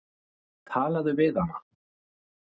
Talaðu við hana.